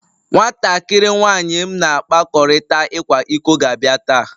Nwatakịrị nwanyị m na-akpakọrịta ịkwa iko ga-abịa taa